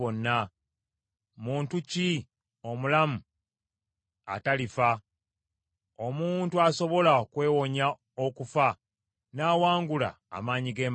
Muntu ki omulamu atalifa, omuntu asobola okwewonya okufa n’awangula amaanyi g’emagombe?